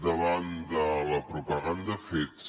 davant de la propaganda fets